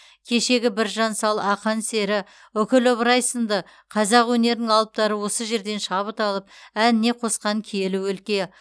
кешегі біржан сал ақан сері үкілі ыбырай сынды қазақ өнерінің алыптары осы жерден шабыт алып әніне қосқан киелі өлке